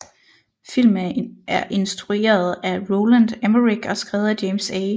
Filmen er instrueret af Roland Emmerich og skrevet af James A